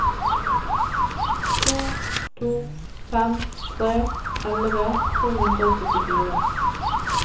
to to fem tre elleve to hundre og syttifire